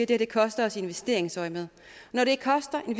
det koster os i investeringsøjemed når det koster en